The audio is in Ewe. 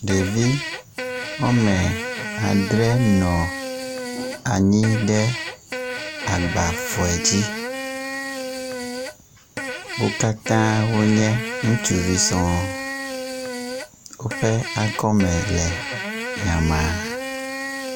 Ɖevi wɔme adre nɔ anyi ɖe agbafɔe dzi. Wo katã wonye utsuvi sɔŋ. Woƒe akɔme le nyama.